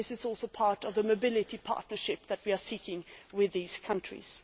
This is also part of the mobility partnership that we are seeking with these countries.